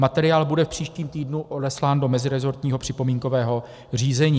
Materiál bude v příštím týdnu odeslán do meziresortního připomínkového řízení.